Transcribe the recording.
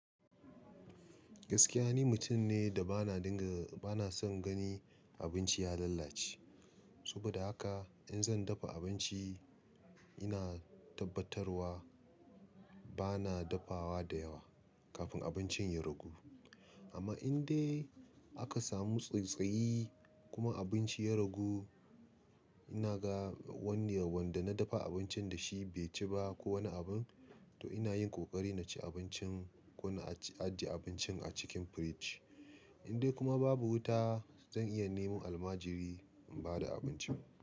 Gaskiya ni mutum ne da ba na dinga, ba na son gani abinci ya lalace. Saboda haka in zan dafa abinci ina tabbatarwa bana dafawa da yawa kafin abincin ya ragu. Amma in dai aka samu tsattsayi kuma abinci ya ragu, ina ga wani wanda na dafa abincin da shi bai ci ba ko wani abin, to ina yin kokari na ci abincin ko na ajiye abincin a cikin firij. In dai kuma babu wuta zan iya neman almajiri in ba da abincin.